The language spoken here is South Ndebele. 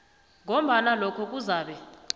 ngombana lokho kuzabe